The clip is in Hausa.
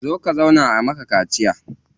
Zo ka zauna a maka kaciya.